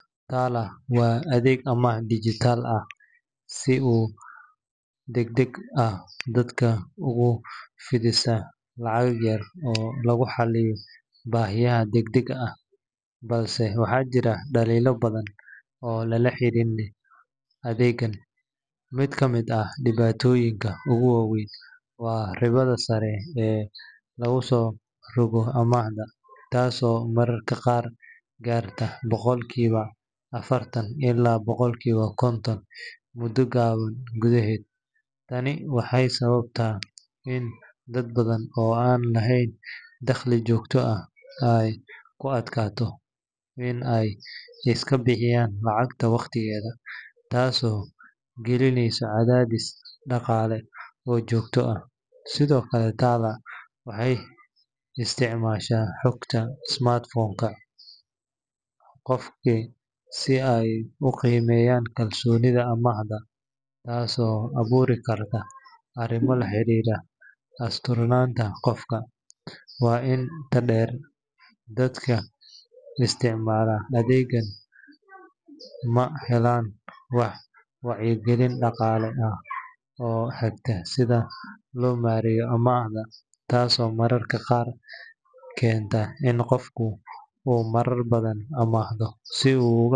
TALA waa adeeg amaah dijitaal ah oo si degdeg ah dadka ugu fidisa lacag yar oo lagu xalliyo baahiyaha degdega ah, balse waxaa jira dhaliilo badan oo lala xiriiriyo adeeggan. Mid ka mid ah dhibaatooyinka ugu waaweyn waa ribada sare ee lagu soo rogo amaahda, taasoo mararka qaar gaarta boqolkiiba afartan ilaa boqolkiiba konton muddo gaaban gudaheed. Tani waxay sababtaa in dad badan oo aan lahayn dakhli joogto ah ay ku adkaato in ay iska bixiyaan lacagta waqtigeeda, taasoo gelinaysa cadaadis dhaqaale oo joogto ah. Sidoo kale, TALA waxay isticmaashaa xogta smartphone-ka qofka si ay u qiimeyso kalsoonida amaahda, taasoo abuuri karta arrimo la xiriira asturnaanta qofka. Waxaa intaa dheer, dadka isticmaala adeeggan ma helaan wax wacyigelin dhaqaale ah oo hagta sida loo maareeyo amaahda, taasoo mararka qaar keenta in qofku uu marar badan amaahdo si uu uga.